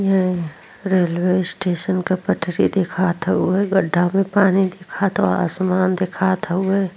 ये railway station के पटरी दिखात हेय उहे गड्ढा में पानी दिखात बा और आसमान दिखात हवे।